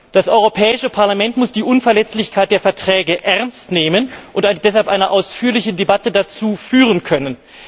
Das Europäische Parlament muss die Unverletzlichkeit der Verträge ernst nehmen und deshalb eine ausführliche Debatte dazu führen können.